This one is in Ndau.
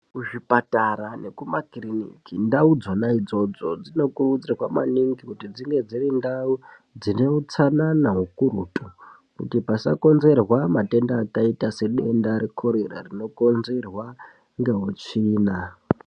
Kuzvipatara nekumakiriniki, ndau dzonaidzodzo dzinokurudzirwa maningi kuti dzinge dzirindau dzineutsanana ukurutu, kuti pasakonzerwa matenda akaita sedenda rekhorera rinokonzerwa ngeutsvina.